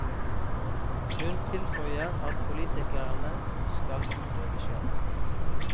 Hun tilføyer at politikerne skal utøve skjønn.